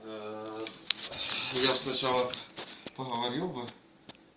я сначала поговорил бы